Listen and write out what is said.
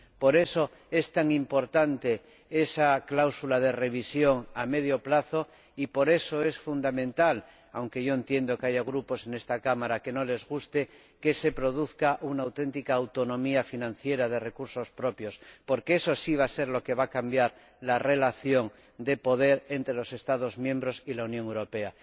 Por eso es tan importante esa cláusula de revisión a medio plazo y, por eso, es fundamental —aunque yo entiendo que haya grupos en esta Cámara a los que no les guste— que se produzca una auténtica autonomía financiera de recursos propios, porque eso sí va a ser lo que va a cambiar la relación de poder entre los Estados miembros y la Unión Europea.